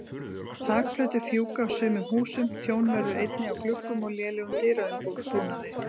Þakplötur fjúka af sumum húsum, tjón verður einnig á gluggum og lélegum dyraumbúnaði.